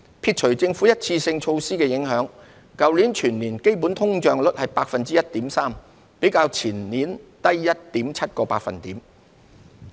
撇除政府一次性措施的影響，去年全年基本通脹率為 1.3%， 較前年低 1.7 個百分點。